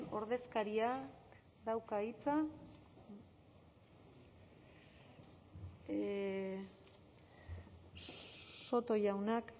ordezkaria dauka hitza soto jaunak